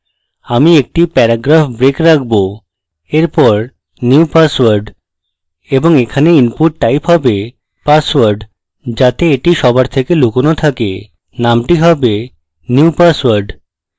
আমি একটি paragraph break রাখবো এরপর new password: এবং এখানে input type হবে password যাতে এটি সবার থেকে লুকানো থাকে নামটি হবে new password